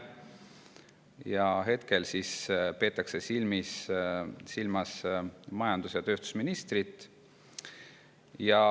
Praegu peetakse silmas majandus- ja tööstusministrit.